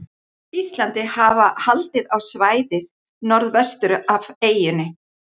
Íslandi, hafa haldið á svæðið norðvestur af eyjunni.